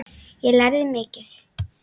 Ég lærði mikið.